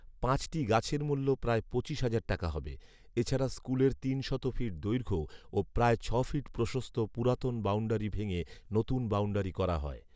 পাঁচটি গাছের মূল্য প্রায় পঁচিশ হাজার টাকা হবে। এছাড়া স্কুলের তিনশত ফিট দৈর্ঘ্য ও প্রায় ছয় ফিট প্রসস্ত পুরাতন বাউন্ডারী ভেঙ্গে নতুন বাউন্ডারী করা হয়